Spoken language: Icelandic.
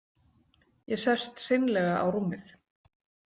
Ég sest seinlega á rúmið.